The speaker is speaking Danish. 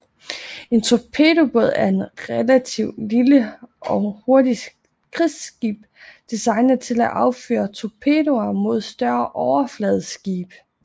En torpedobåd er et relativt lille og hurtigt krigsskib designet til at affyre torpedoer mod større overfladeskibe